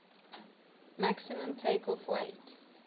maximum takeoff weight